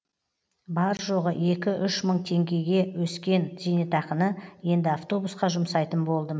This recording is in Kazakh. бар жоғы екі үш мың теңгеге өскен зейнетақыны енді автобусқа жұмсайтын болдым